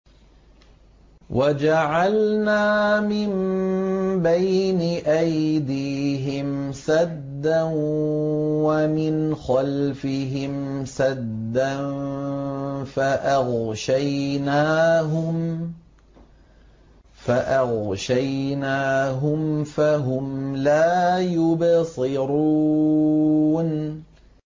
وَجَعَلْنَا مِن بَيْنِ أَيْدِيهِمْ سَدًّا وَمِنْ خَلْفِهِمْ سَدًّا فَأَغْشَيْنَاهُمْ فَهُمْ لَا يُبْصِرُونَ